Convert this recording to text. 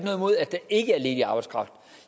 der ikke er ledig arbejdskraft